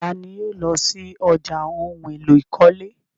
Tani yóò lọ sí ọ̀já ohun èlò ìkọ́lé?